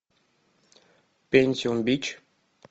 пентиум бич